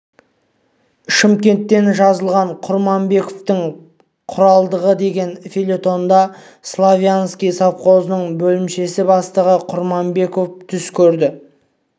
шымкенттен жазылған құрманбековтың құрмалдығы деген фельетонда славянский совхозының бөлімше бастығы құрманбеков түс көреді